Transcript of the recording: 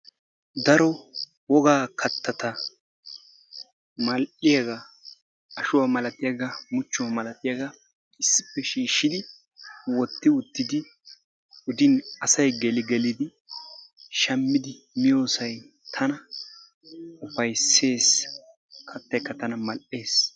Daro wogaa kattaatta mal"iyaaga ashshuwaa malatiyaagaa muchchuwaa malatiyaagaa issippe shiishshidi wotti uttidi asay geeli gellidi shaammidi miyoosaay tana upayssees. Kaattaykka tana mal"ees.